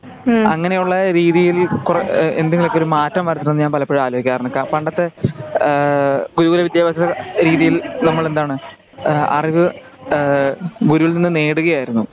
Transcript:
അങ്ങനെയുള്ള രീതിയിൽ കുറെ എന്തെങ്കിലുമൊക്കെ ഒരു കുറെഎന്തെങ്കിലുമൊക്കെ മാറ്റം വരുത്തണമെന്ന് ഞാൻ പലപ്പോഴും ആലോചിക്കാറുണ്ട്. പണ്ടത്തെ ആ ഗുരുകുല വിദ്ത്യഭ്യാസ രീതിയിൽ നമ്മൾ എന്താണ് ആ അറിവ് ആ ഗുരുകുലത്തിൽ നിന്ന് നേടുകയായിരുന്നു.